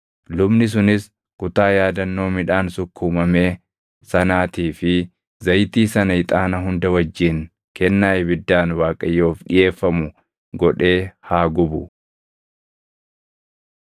Lubni sunis kutaa yaadannoo midhaan sukkuumamee sanaatii fi zayitii sana ixaana hunda wajjin kennaa ibiddaan Waaqayyoof dhiʼeeffamu godhee haa gubu.